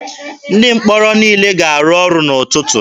Ndị mkpọrọ niile ga-arụ ọrụ n'ụtụtụ.